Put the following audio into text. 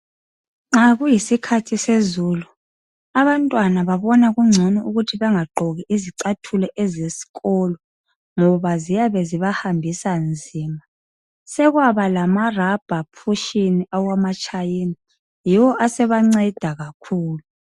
Nxa kuyisikhathi sezulu abantwana babona kungcono ukuthi bangagqoki izicathulo ezesikolo ngoba ziyabe zibahambisa nzima. Sekwaba lamarubber pushin awamachina yiwo asebanceda kakhulu.